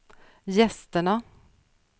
gästerna